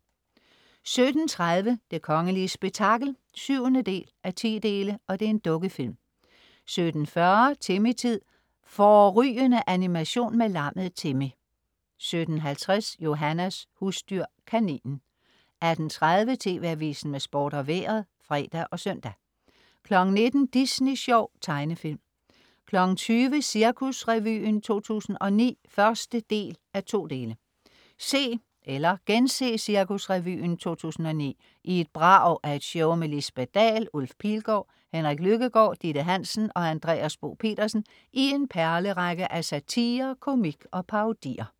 17.30 Det kongelige spektakel. 7:10 Dukkefilm 17.40 Timmy-tid. Fårrygende animation med lammet Timmy 17.50 Johannas husdyr. Kaninen 18.30 TV Avisen med Sport og Vejret (fre og søn) 19.00 Disney Sjov. Tegnefilm 20.00 Cirkusrevyen 2009 1:2 Se eller gense Cirkusrevyen 2009 i et brag af et show med Lisbeth Dahl, Ulf Pilgaard, Henrik Lykkegaard, Ditte Hansen og Andreas Bo Pedersen i en perlerække af satire, komik og parodier